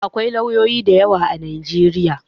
Akwai lauyoyi masu yawa a Najeriya.